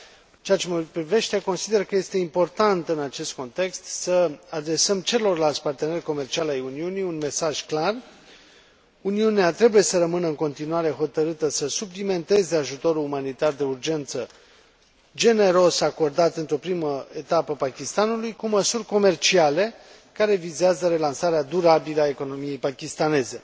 În ceea ce mă privește, consider că este important, în acest context, să adresăm celorlalți parteneri comerciali ai Uniunii un mesaj clar Uniunea trebuie să rămână în continuare hotărâtă să suplimenteze ajutorul umanitar de urgență generos acordat într o primă etapă Pakistanului cu măsuri comerciale, care vizează relansarea durabilă a economiei pakistaneze.